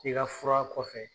I ka fura kɔfɛ